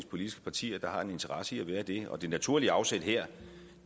politiske partier der har en interesse i at være det og det naturlige afsæt her